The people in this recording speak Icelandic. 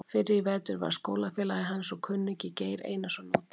Fyrr í vetur varð skólafélagi hans og kunningi, Geir Einarsson, úti.